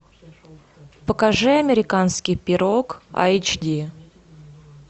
покажи американский пирог эйч ди